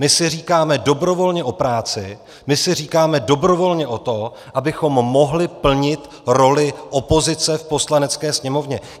My si říkáme dobrovolně o práci, my si říkáme dobrovolně o to, abychom mohli plnit roli opozice v Poslanecké sněmovně.